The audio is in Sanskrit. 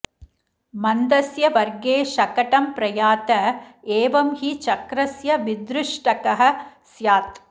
मन्दस्य वर्गे शकटं प्रयात एवं हि चक्रस्य विदृष्टक्ः स्यात्